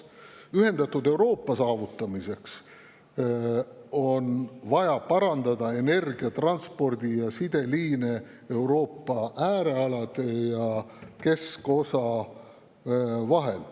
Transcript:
Ühendatud Euroopa saavutamiseks on vaja parandada energia‑, transpordi‑ ja sideliine Euroopa äärealade ja keskosa vahel.